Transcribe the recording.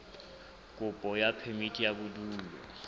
kopo ya phemiti ya bodulo